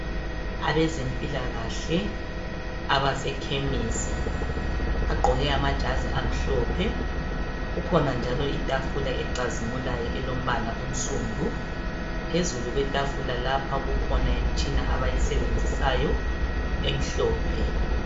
Abezempilakahle abasekhemisi bagqoke amajazi amhlophe kukhona njalo Itafula ecazimulayo elombala onsundu. Phezulu kwetafula lapha kukhona Imtshina abayisebenzisayo emhlophe .